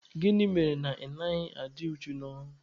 Gịnị mere na ị naghị adị uchu n'ọrụ?